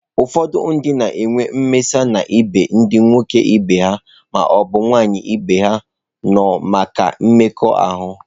Ụfọdụ ndị na-enwe mmasị n'ebe ndị nwoke ibe ha ma ọ bụ nwaanyị ibe ha nọ maka mmekọahụ.